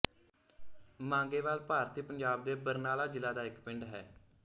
ਮਾਂਗੇਵਾਲ ਭਾਰਤੀ ਪੰਜਾਬ ਦੇ ਬਰਨਾਲਾ ਜ਼ਿਲ੍ਹਾ ਦਾ ਇੱਕ ਪਿੰਡ ਹੈ